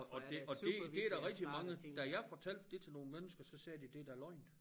Og og det og det det der rigtig mange da jeg fortalte det til nogle mennesker så sagde de det da løgn